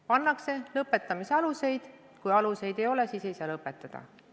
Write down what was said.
Pannakse kirja lõpetamise alused, kui alust ei ole, siis ei saa menetlust lõpetada.